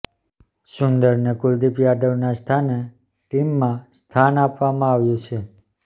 સુંદરને કુલદીપ યાદવના સ્થાને ટીમમાં સ્થાન આપવામાં આવ્યું છે